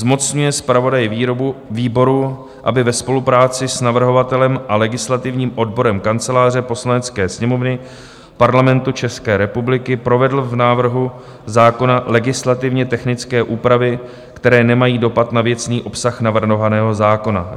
Zmocňuje zpravodaje výboru, aby ve spolupráci s navrhovatelem a legislativním odborem Kanceláře Poslanecké sněmovny Parlamentu České republiky provedl v návrhu zákona legislativně technické úpravy, které nemají dopad na věcný obsah navrhovaného zákona;